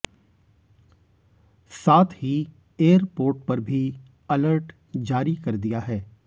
साथ ही एयरपोर्ट पर भी अलर्ट जारी कर दिया है